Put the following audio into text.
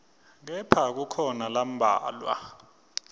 kepha kukhona lambalwa